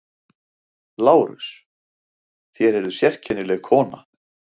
LÁRUS: Þér eruð sérkennileg kona.